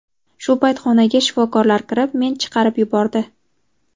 Shu payt xonaga shifokorlar kirib, men chiqarib yubordi.